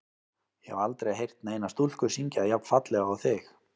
Ég hef aldrei heyrt neina stúlku syngja jafn fallega og þig.